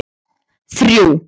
þrjú